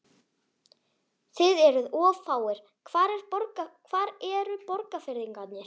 Þið eruð of fáir, hvar eru Borgfirðingarnir?